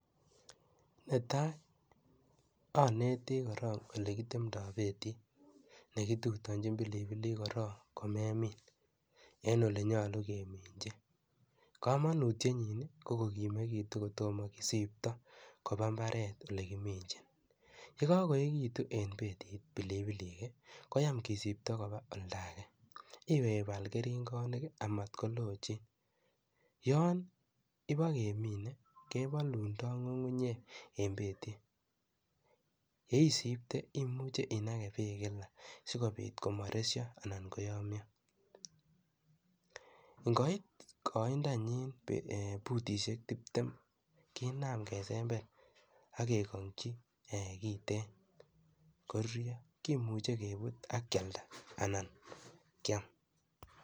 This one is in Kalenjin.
Netai, aneti korok ole kitemtoi betit, nekiturtochi pilipilik korok ko memiin, ole nyolu keminchi. Kamanutietnyin ko kimekitu kotomo kisiipto koba imbaaret ole kiminchin, ye kakoechekitu eng betit pilipilik koyam kesipto koba oldo ake, iwe ipaal keringonik amat kolochiin. Yon ipa keminei kepolundoi ngungunyek eng betit, ye isiipte imuchi inake beek eng kila sikopit komaresyo anan koyamio. Ngoit koindonyin putisiek tuptem kiinam kesember ake kangchi kiiten koruryo, kimuchei kepuut akialda anan kiam.